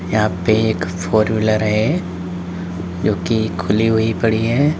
यहां पे एक फोर वीलर है जो कि खुली हुई पड़ी है।